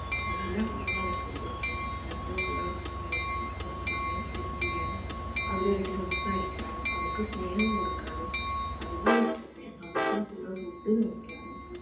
എല്ലാം നമ്മൾ അവർക്ക് കൊടുത്ത് അവരുടെ കൂടെ ഏർ കൊറച് സമയം spend ചെയ്യാനും അവരുമായിട്ട് സംസാരിക്കാനും അവർക്ക് സ്നേഹം കൊടുക്കാനും അത് പോലെ തന്നെ അവരുടെ കൂടെ food കഴിക്കാനും